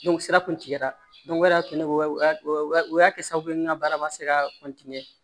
sira kuntigɛra o de y'a to ne ya o o y'a kɛ sababu ye n ka baara ma se ka